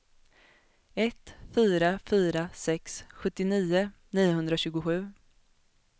ett fyra fyra sex sjuttionio niohundratjugosju